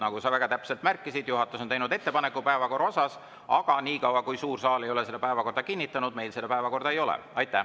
Nagu sa väga täpselt märkisid, juhatus on teinud ettepaneku päevakorra kohta, aga niikaua kui suur saal ei ole päevakorda kinnitanud, meil seda päevakorda ei ole.